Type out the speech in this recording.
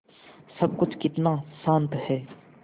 सब कुछ कितना शान्त है